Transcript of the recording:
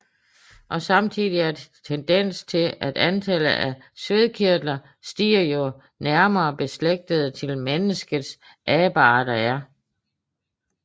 Samtidig er der en tendens til at antallet af svedkirtler stiger jo nærmere beslægtede til mennesket abearter er